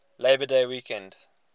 labor day weekend